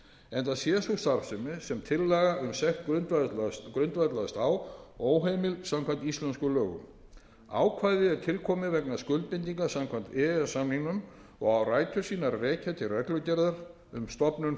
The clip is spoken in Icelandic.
enda sé sú starfsemi sem tillaga um sekt grundvallast á óheimil samkvæmt íslenskum lögum ákvæðið er tilkomið vegna skuldbindinga samkvæmt e e s samningnum og á rætur sínar að rekja til reglugerðar um stofnun